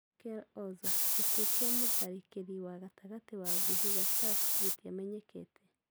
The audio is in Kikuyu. Merkel Oza: Gĩkuũ kĩa mũtharĩkeri wa gatagatĩ wa Vihiga Stars gĩtiamenyekete